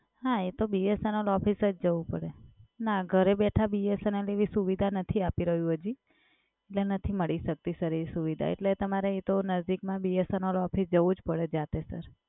હા એ તો BSNL ઓફિસ જ જવું પડે. ના ઘરે બેઠા BSNL એવી સુવિધા નથી આપી રહ્યું હજી. એટલે નથી મળી શકતી સર એ સુવિધા. એટલે તમારે એ તો નજદીકમાં BSNL ઓફિસ જવું જ પડે જાતે સર.